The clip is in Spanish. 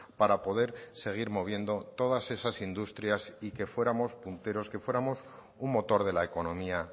para poder seguir moviendo todas esas industrias y que fuéramos punteros que fuéramos un motor de la economía